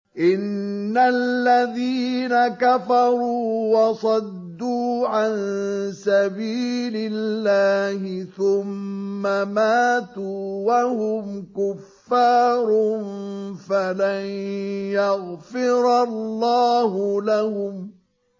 إِنَّ الَّذِينَ كَفَرُوا وَصَدُّوا عَن سَبِيلِ اللَّهِ ثُمَّ مَاتُوا وَهُمْ كُفَّارٌ فَلَن يَغْفِرَ اللَّهُ لَهُمْ